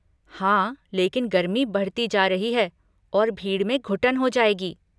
हाँ, लेकिन गर्मी बढ़ती जा रही है और भीड़ में घुटन हो जाएगी।